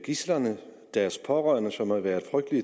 gidslerne og deres pårørende som har været